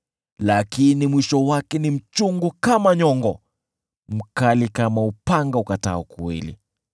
lakini mwisho wake ni mchungu kama nyongo, mkali kama upanga ukatao kuwili.